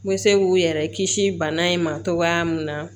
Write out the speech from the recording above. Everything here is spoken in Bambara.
N bɛ se k'u yɛrɛ kisi bana in ma cogoya min na